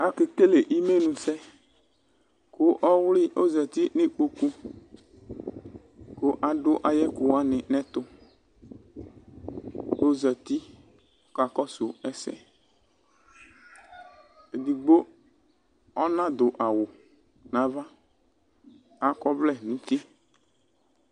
Ake kele imenu sɛ kʋ ɔwlɩ ozati n' ikpoku, kʋ adʋ ayɛkʋ wanɩ n'ɛtʋ kozati ɔka kɔsʋ ɛsɛEdigbo ɔnadʋ awʋ nava, akɔ ɔvlɛ nʋ uti